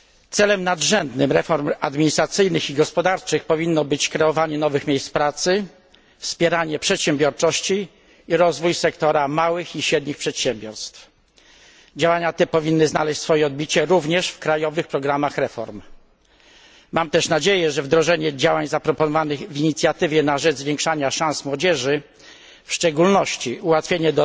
Celem nadrzędnym reform administracyjnych i gospodarczych powinno być tworzenie nowych miejsc pracy, wpieranie przedsiębiorczości oraz rozwój sektora małych i średnich przedsiębiorstw. Działania te powinny znaleźć swoje odbicie również w krajowych programach reform. Mam też nadzieję, że wdrożenie działań zaproponowanych w inicjatywie na rzecz zwiększania szans młodzieży, w szczególności ułatwienie